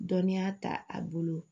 Dɔnniya ta a bolo